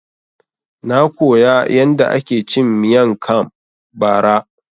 Na koya yanda ake cin Miang kam bara